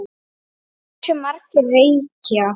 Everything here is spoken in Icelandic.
Hversu margir reykja?